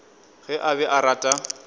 ge a be a rata